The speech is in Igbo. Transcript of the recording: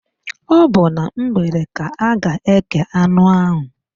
Ọ bụ na mgbede ka a ga-ékè anụ áhụ̀.